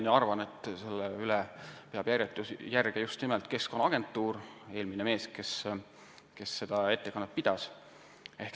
Ma arvan, et selle üle peab järge just nimelt Keskkonnaagentuur, eelmine mees, kes siin ettekannet pidas.